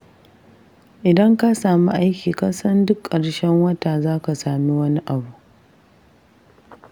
Idan ka sami aiki kasan duk ƙarshen wata zaka sami wani abu.